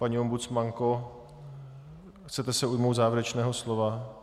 Paní ombudsmanko, chcete se ujmout závěrečného slova?